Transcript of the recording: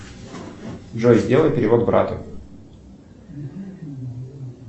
джой сделай перевод брату